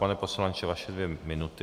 Pane poslanče, vaše dvě minuty.